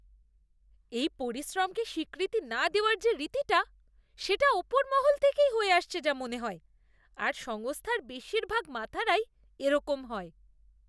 এই পরিশ্রমকে স্বীকৃতি না দেওয়ার যে রীতিটা সেটা ওপর মহল থেকেই হয়ে আসছে যা মনে হয় আর সংস্থার বেশিরভাগ মাথারাই এরকম হয়।